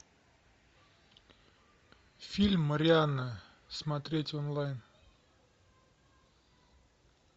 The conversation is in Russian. фильм марианна смотреть онлайн